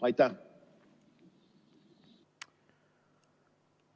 Aitäh!